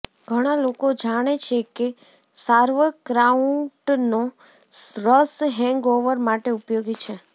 ઘણાં લોકો જાણે છે કે સાર્વક્રાઉટનો રસ હેંગઓવર માટે ઉપયોગી છે